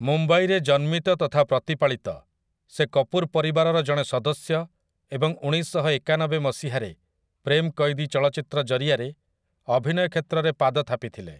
ମୁମ୍ବାଇରେ ଜନ୍ମିତ ତଥା ପ୍ରତିପାଳିତ, ସେ କପୁର୍ ପରିବାରର ଜଣେ ସଦସ୍ୟ ଏବଂ ଉଣେଇଶଶହଏକାନବେ ମସିହାରେ 'ପ୍ରେମ୍ କୈଦୀ' ଚଳଚ୍ଚିତ୍ର ଜରିଆରେ ଅଭିନୟ କ୍ଷେତ୍ରରେ ପାଦ ଥାପିଥିଲେ ।